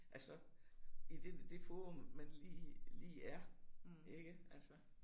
Altså i det det forum man lige lige er ikke altså